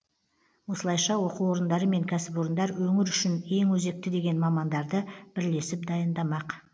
осылайша оқу орындары мен кәсіпорындар өңір үшін ең өзекті деген мамандарды бірлесіп дайындамақ